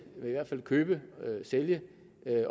i hvert fald købe og sælge